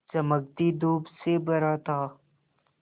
चमकती धूप से भरा था